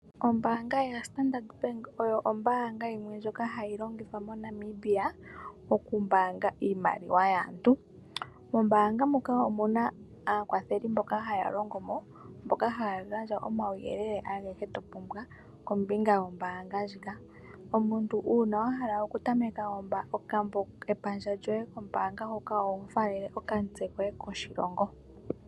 Ombaanga yaStandard Bank oyo ombaanga yimwe ndjoka hayi longithwa moNamibia okumbaanga iimaliwa yaantu. Mombaanga muka omu na aakwatheli mboka haya longo mo, mboka haya gandja omauyelele agehe to pumbwa kombinga yombaanga ndjika. omuntu uuna wa hala okutameka omayalulo gombaanga oho faalele okamutse koye koshilongo.